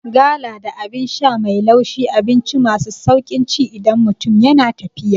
Gala da Abin sha mai laushi abinci masu sauƙin ci idan mutum yana tafiya